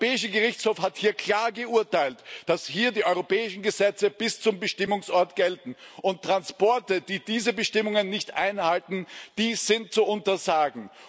Der Europäische Gerichtshof hat klar geurteilt, dass hier die europäischen Gesetze bis zum Bestimmungsort gelten, und Transporte, die diese Bestimmungen nicht einhalten, sind zu untersagen.